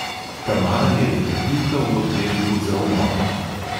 Tamara je detektivka v oddelku za umore.